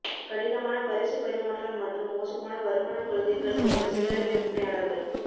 கடினமான பரிசு பரிமாற்றம் மற்றும் மோசமான வருமான கொள்கைகள் கொண்ட சில்லறை விற்பனையாளர்கள்